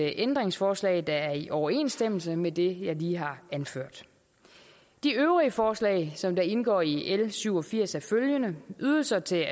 ændringsforslag der er i overensstemmelse med det jeg lige har anført de øvrige forslag som indgår i l syv og firs er følgende ydelser til